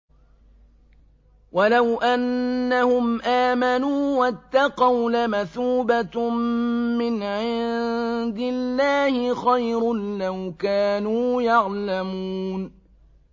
وَلَوْ أَنَّهُمْ آمَنُوا وَاتَّقَوْا لَمَثُوبَةٌ مِّنْ عِندِ اللَّهِ خَيْرٌ ۖ لَّوْ كَانُوا يَعْلَمُونَ